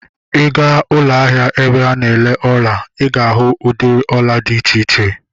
Ị gaa ụlọ ahịa ebe a na-ere ọla, ị ga-ahụ udịri ọla dị iche iche